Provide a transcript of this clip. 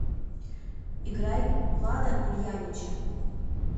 играй влада ульянича